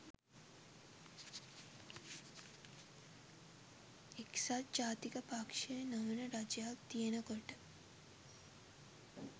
එක්සත් ජාතික පක්ෂ නොවන රජයක් තියෙනකොට